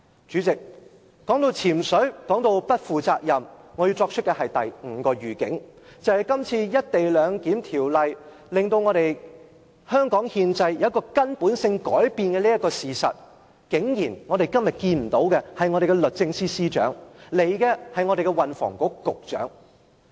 主席，談到"潛水"及不負責任，我要作出第五個預警，便是當《條例草案》令香港憲制出現根本性改變時，我們今天在立法會竟然看不到我們的律政司司長出席，前來的只是運房局局長。